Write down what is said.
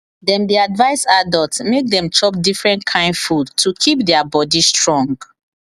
dem dey advise adults make dem chop different kain food to keep their body strong